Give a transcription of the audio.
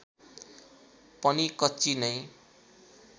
पनि कच्ची नै